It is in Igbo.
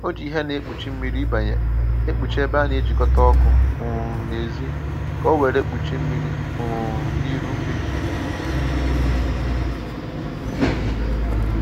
o ji ìhè na egbochi mmiri ibanye ekpuchi ebe a na-ejikọta ọkụ um n’èzí ka owere gbochie mmiri um na iru mmiri.